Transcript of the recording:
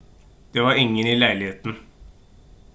det var ingen i leiligheten